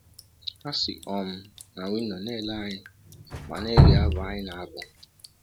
Ha si um na windọ na - ele anyị ma na - ege abụ anyị na - abụ.